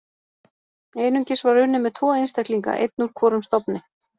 Einungis var unnið með tvo einstaklinga, einn úr hvorum stofni.